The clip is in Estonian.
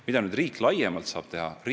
Mida riik laiemalt saab teha?